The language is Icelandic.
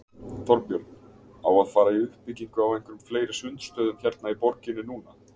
Þorbjörn: Á að fara í uppbyggingu á einhverjum fleiri sundstöðum hérna í borginni núna?